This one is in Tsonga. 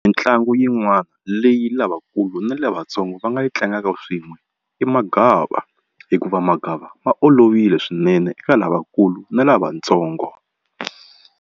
Mintlangu yin'wana leyi lavakulu na lavatsongo va nga yi tlangaka swin'we i magava hikuva magava ma olovile swinene eka lavakulu na lavatsongo.